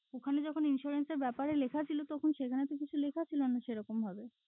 ওখানে যখন insurance র ব্যাপারে লিখা ছিল তখন সেখানে তো কিছু লিখা ছিলো না সেরকম ভাবে।